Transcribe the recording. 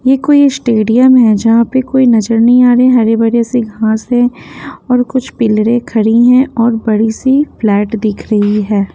ये कोई स्टेडियम है जहाँ पे कोई नजर नहीं आ रहे हरे भरे से घास है और कुछ पिलरें खड़ी हैं और बड़ी सी फ्लैट दिख रही है।